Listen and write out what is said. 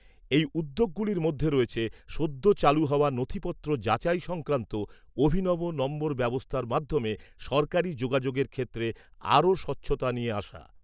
এই উদ্যোগগুলির মধ্যে রয়েছে সদ্য চালু হওয়া নথিপত্র যাচাই সংক্রান্ত অভিনব নম্বর ব্যবস্থার মাধ্যমে সরকারি যোগাযোগের ক্ষেত্রে আরও স্বচ্ছতা নিয়ে আসা।